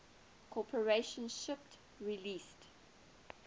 corporation shipped release